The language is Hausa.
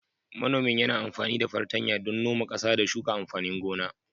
Manomin yana amfani da fartanya don noma ƙasa, da shuka amfanin gona.